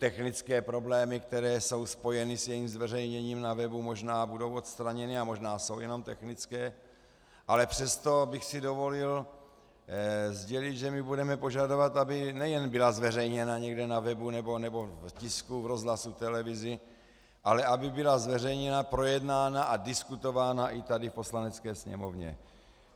Technické problémy, které jsou spojeny s jejím zveřejněním na webu, možná budou odstraněny a možná jsou jenom technické, ale přesto bych si dovolil sdělit, že my budeme požadovat, aby nejen byla zveřejněna někde na webu nebo v tisku, rozhlasu, v televizi, ale aby byla zveřejněna, projednána a diskutována i tady v Poslanecké sněmovně.